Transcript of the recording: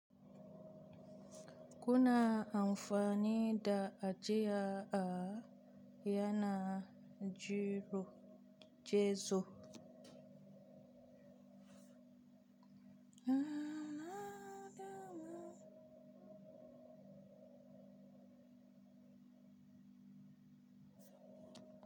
Kuna amfani da ajiya a yana gizo gizo?